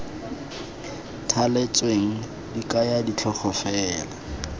thaletsweng di kaya ditlhogo fela